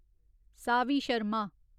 Saavi Sharma